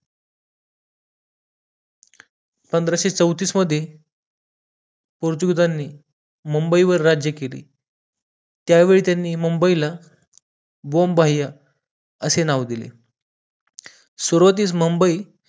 पंधराशे चौतीस मध्ये पोर्तुगीजांनी मुंबईवर राज्य केले त्यावेळी त्यांनी मुंबईला बोंबाह्य असे नाव दिले सुरवातीस मुंबई